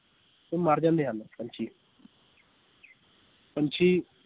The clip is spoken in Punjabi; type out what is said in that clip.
ਇਹ ਮਰ ਜਾਂਦੇ ਹਨ ਪੰਛੀ ਪੰਛੀ